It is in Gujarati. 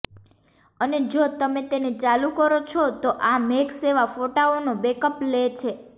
અને જો તમે તેને ચાલુ કરો છો તો આ મેઘ સેવા ફોટાઓનો બેકઅપ લે છે